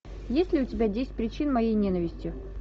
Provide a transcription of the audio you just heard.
есть ли у тебя десять причин моей ненависти